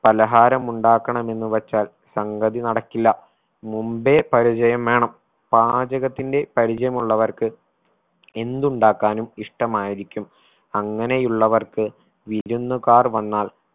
പലഹാരമുണ്ടാക്കണമെന്നു വെച്ചാൽ സംഗതി നടക്കില്ല മുമ്പേ പരിചയം വേണം പാചകത്തിന്റെ പരിചയം ഉള്ളവർക്ക് എന്തുണ്ടാക്കാനും ഇഷ്ടമായിരിക്കും അങ്ങനെയുള്ളവർക്ക് വിരുന്നുകാർ വന്നാൽ